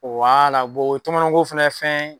o ye tɔmɔnɔko fana fɛn